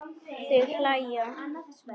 Þau hlæja.